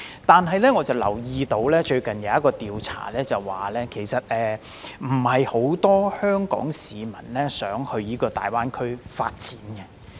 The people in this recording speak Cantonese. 但是，我留意到，最近有一項調查指出，並非很多香港市民想到大灣區發展。